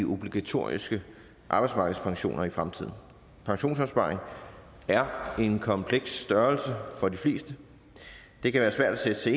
obligatoriske arbejdsmarkedspensioner i fremtiden pensionsopsparing er en kompleks størrelse for de fleste det kan være svært at sætte sig